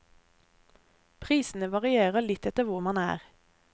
Prisene varierer litt etter hvor man er.